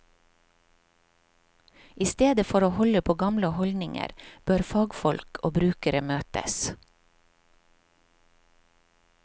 I stedet for å holde på gamle holdninger, bør fagfolk og brukere møtes.